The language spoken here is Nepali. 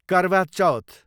करवा चौथ